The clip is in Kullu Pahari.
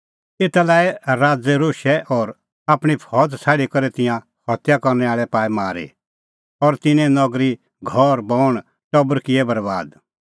एता लै आई राज़ै रोशै और आपणीं फौज़ छ़ाडी करै तिंयां हत्या करनै आल़ै पाऐ मारी और तिन्नें नगरी घर बण और टबर किऐ बरैबाद